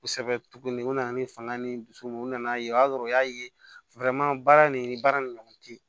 Kosɛbɛ tuguni u nana ni fanga ni dusu mun ye u nana ye o y'a sɔrɔ u y'a ye baara nin baara nin ɲɔgɔn te ye